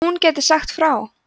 hún gæti sagt frá